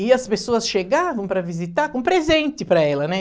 E as pessoas chegavam para visitar com presente para ela, né?